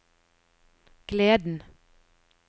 gleden